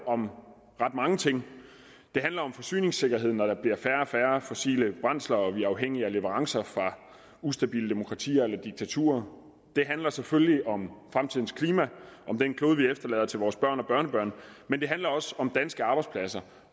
om ret mange ting det handler om forsyningssikkerhed når der bliver færre og færre fossile brændsler og vi er afhængige af leverancer fra ustabile demokratier eller diktaturer det handler selvfølgelig om fremtidens klima om den klode vi efterlader til vores børn og børnebørn men det handler også om danske arbejdspladser